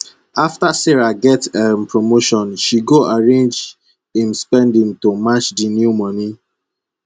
after sarah get um promotion she go arrange im spending to match di new moni